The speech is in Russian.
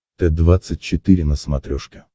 т двадцать четыре на смотрешке